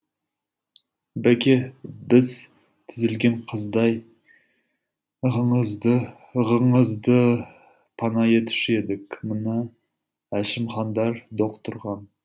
бәке біз тізілген қаздай ығыңызды пана етуші едік мына әшімхандар доқ тұрған